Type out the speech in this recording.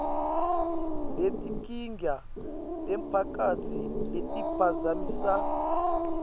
netinkinga temphakatsi letiphazamisa